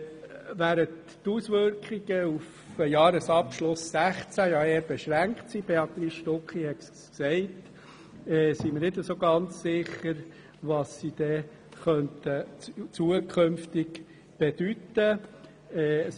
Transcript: Während die Auswirkungen auf den Jahresabschluss 2016 eher beschränkt sind, wie Béatrice Stucki ausgeführt hat, sind wir nicht ganz sicher, was in Zukunft auf uns zukommen wird.